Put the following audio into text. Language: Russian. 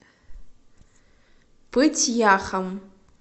пыть яхом